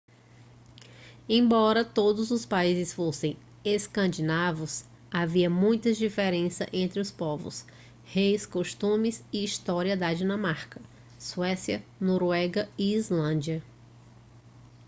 embora todos os países fossem escandinavos havia muitas diferenças entre os povos reis costumes e história da dinamarca suécia noruega e islândia